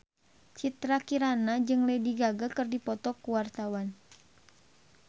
Citra Kirana jeung Lady Gaga keur dipoto ku wartawan